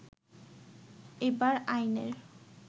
এবার আইনের